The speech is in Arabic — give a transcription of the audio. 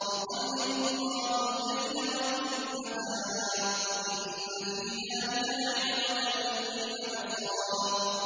يُقَلِّبُ اللَّهُ اللَّيْلَ وَالنَّهَارَ ۚ إِنَّ فِي ذَٰلِكَ لَعِبْرَةً لِّأُولِي الْأَبْصَارِ